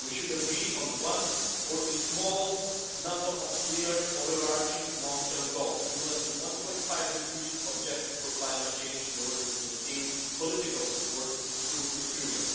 We should agree on one or a small number of clear overarching long term goals, similar to the 1.5 degree objective for climate change, in order to maintain political support through the period.